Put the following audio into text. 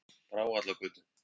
Brávallagötu